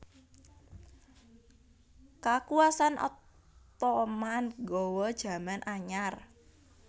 Kakuwasan Ottoman nggawa jaman anyar